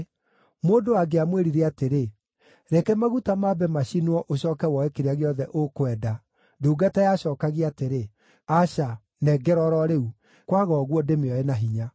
Mũndũ angĩamwĩrire atĩrĩ, “Reke maguta mambe macinwo, ũcooke woe kĩrĩa gĩothe ũkwenda,” ndungata yacookagia atĩrĩ, “Aca, nengera o ro rĩu; kwaga ũguo, ndĩmĩoe na hinya.”